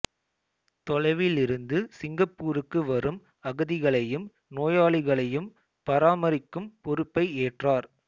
தொலைவிலிருந்து சிங்கப்பூருக்கு வரும் அகதிகளையும் நோயாளிகளையும் பராமரிக்கும் பொறுப்பை ஏற்றார்